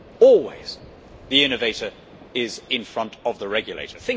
Always, the innovator is in front of the regulator.